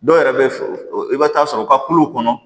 Dɔw yɛrɛ bɛ i bɛ taa sɔrɔ u ka kuluw kɔnɔ